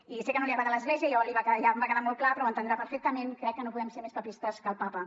i sé que no li agrada l’església ja em va quedar molt clar però ho entendrà perfectament crec que no podem ser més papistes que el papa